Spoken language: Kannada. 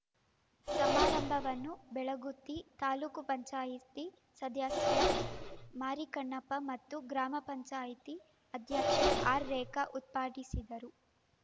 ಸಮಾರಂಭವನ್ನು ಬೆಳಗುತ್ತಿ ತಾಲೂಕು ಪಂಚಾಯತಿ ಸದಸ್ಯ ಮಾರಿಕನ್ನಪ್ಪ ಮತ್ತು ಗ್ರಾಮ ಪಂಚಾಯತಿ ಅಧ್ಯಕ್ಷೆ ಆರ್‌ರೇಖಾ ಉದ್ಘಾಟಿಸಿದರು